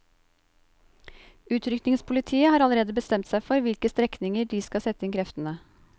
Utrykningspolitiet har allerede bestemt seg for hvilke strekninger det skal sette inn kreftene.